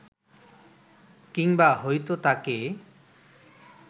কিংবা হয়তো তাঁকে